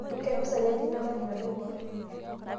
kempisai aja ina marinda naibor